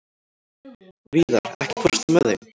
Víðar, ekki fórstu með þeim?